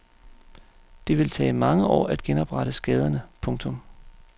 Det vil tage mange år at genoprette skaderne. punktum